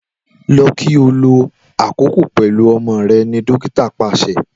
Lọ ki o lo akoko pẹlu ọmọ rẹ dokita paṣẹ.